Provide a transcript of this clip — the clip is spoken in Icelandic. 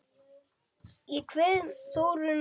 Ég kveð Þórunni að sinni.